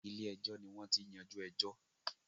Ilé ẹjọ́ ni wọ́n ti ń yajú ẹjọ́.